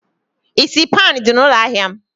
Isi pan dị na ụlọ ahịa m?